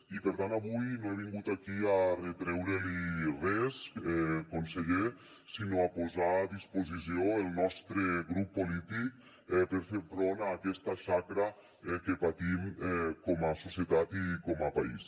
i per tant avui no he vingut aquí a retreure li res conseller sinó a posar a disposició el nostre grup polític per fer front a aquesta xacra que patim com a societat i com a país